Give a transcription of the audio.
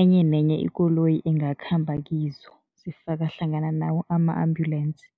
enye nenye ikoloyi ingakhamba kizo, zifaka hlangana nawo ama-ambulensi.